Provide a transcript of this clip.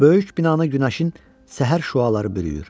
Böyük binanı günəşin səhər şüaları bürüyür.